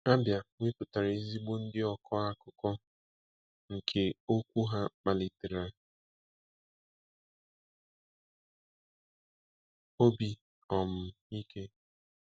Abia weputara ezigbo ndi okọ akukonke okwu ha kpalitere obi um ike.